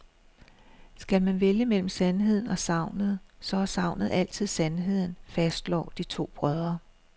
Skal man vælge mellem sandheden og sagnet, så er sagnet altid sandheden, fastslår de to brødre.